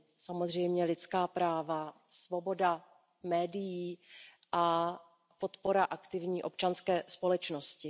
samozřejmě lidská práva, svoboda médií a podpora aktivní občanské společnosti.